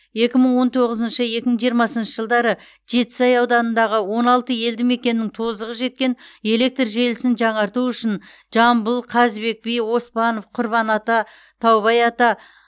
екі мың он тоғызыншы екі мың жиырмасыншы жылдары жетісай ауданындағы он алты елдімекеннің тозығы жеткен электр желісін жаңарту үшін жамбыл қазыбек би оспанов құрбан ата таубай ата